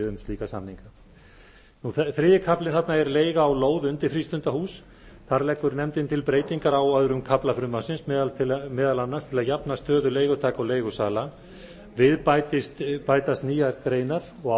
um slíka samninga þriðji kaflinn þarna er leiga á lóð undir frístundahús þar leggur nefndin til breytingar á öðrum kafla frumvarpsins meðal annars til að jafna stöðu leigutaka og leigusala við bætist nýjar greinar og